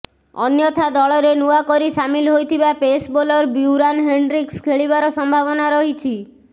ଅନ୍ୟଥା ଦଳରେ ନୂଆକରି ସାମିଲ ହୋଇଥିବା ପେସ୍ ବୋଲର ବ୍ୟୁରାନ୍ ହେଣ୍ଡ୍ରିକ୍ସ ଖେଳିବାର ସମ୍ଭାବନା ରହିଛି